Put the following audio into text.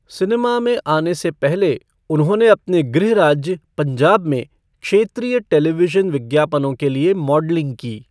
Cinema में आने से पहले, उन्होंने अपने गृह राज्य पंजाब में क्षेत्रीय टेलीविजन विज्ञापनों के लिए मॉडलिंग की।